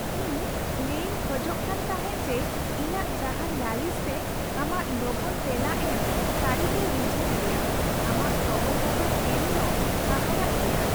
ᱤᱧ ᱞᱟᱹᱭ ᱤᱧ ᱠᱷᱚᱡᱚᱜ ᱠᱟᱱ ᱛᱟᱦᱮᱸᱜ ᱡᱮ ᱤᱧᱟᱹᱜ ᱡᱟᱦᱟᱱ ᱞᱟᱞᱤᱥ ᱨᱮ ᱟᱢᱟᱜ ᱞᱚᱜᱚᱱ ᱛᱮᱞᱟ ᱮᱢ ᱥᱟᱹᱨᱤᱜᱮ ᱨᱤᱡᱷᱟᱱ ᱜᱮᱭᱟ ᱾ ᱟᱢᱟᱜ ᱠᱷᱚᱵᱚᱨ ᱠᱟᱜᱚᱡᱽ ᱮᱢ ᱫᱚ ᱦᱟᱦᱟᱲᱟᱜ ᱜᱮᱭᱟ ᱾